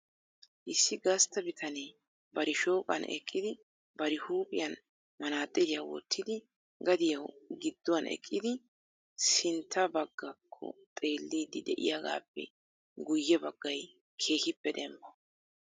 Issi gastta bitanee bari shooqan eqqidi bari huuphiyan manaxxiriyaa wottidi gadiyaw giduwaan eqqidi sinttaa baggakko xeelidi de'iyaagappe guyye baggay keehippe dembba.